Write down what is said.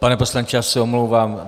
Pane poslanče, já se omlouvám.